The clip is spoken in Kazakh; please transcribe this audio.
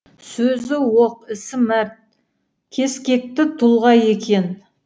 сөзі оқ ісі мәрт кескекті тұлға екен